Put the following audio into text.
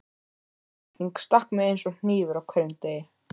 Þessi setning stakk mig eins og hnífur á hverjum degi.